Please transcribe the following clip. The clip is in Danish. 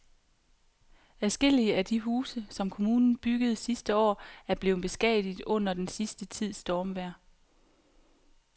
Adskillige af de huse, som kommunen byggede sidste år, er blevet beskadiget under den sidste tids stormvejr.